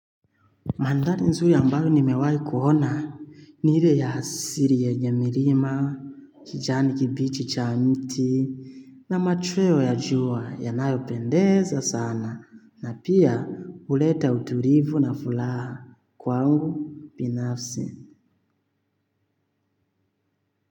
Mandhari nzuri ambayo nimewahi kuona ile ya asili yenye milima, kijani kibichi cha mti na machweo ya jua yanayopendeza sana na pia huleta utulivu na furaha kwangu binafsi.